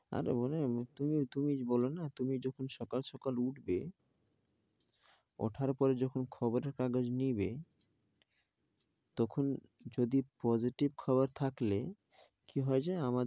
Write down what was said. আর ওরা এমনি তো, তুমি বলো না তুমি যখন সকাল সকাল উঠবে উঠার পরে যখন খবর এর কাগজ যখন নিবে, তখন যদি positive খবর থাকলে কি হয় জানো?